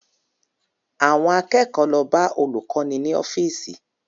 Àwọn akẹ́kọ̀ọ́ lọ bá olùkọ́ni ní ọ́fíìsì